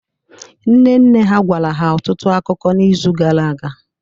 Nne nne ha gwara ha ọtụtụ akụkọ n’izu gara aga